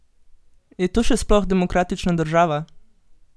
Je to še sploh demokratična država?